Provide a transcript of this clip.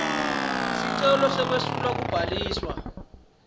sicelo sekwesulwa kubhaliswa